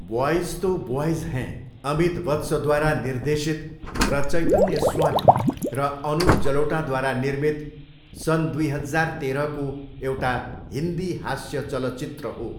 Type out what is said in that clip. Boys तो boys हैं अमित वत्सद्वारा निर्देशित र चैतन्य स्वामी र अनुप जलोटाद्वारा निर्मित सन् दुई हजार तेह्रको एउटा हिन्दी हास्य चलचित्र हो।